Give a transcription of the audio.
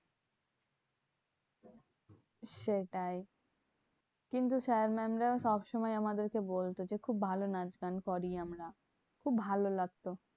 সেটাই কিন্তু sir mam রা সবসময় আমাদেরকে বলতো যে, খুব ভালো নাচ গান করি আমরা। খুব ভালো লাগতো।